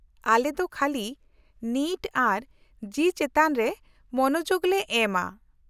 -ᱟᱞᱮ ᱫᱚ ᱠᱷᱟᱹᱞᱤ ᱱᱤᱴ ᱟᱨ ᱡᱤ ᱪᱮᱛᱟᱱ ᱨᱮ ᱢᱚᱱᱚᱡᱳᱜᱞᱮ ᱮᱢᱼᱟ ᱾